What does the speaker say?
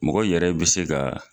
Mɔgɔ yɛrɛ bɛ se ka